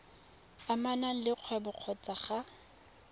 amanang le kgwebo kgotsa ga